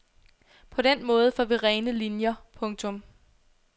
På den måde får vi rene linier. punktum